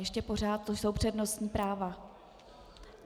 Ještě pořád tu jsou přednostní práva.